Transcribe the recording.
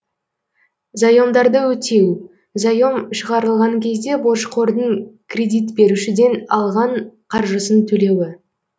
заемдарды өтеу заем шығарылған кезде борышқордың кредит берушіден алған қаржысын төлеуі